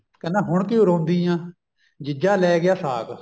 ਕਹਿੰਦਾ ਹੁਣ ਕਿਉਂ ਰੋਂਦੀ ਐ ਜਦੋਂ ਜੀਜਾ ਲੈ ਗਿਆ ਸਾਕ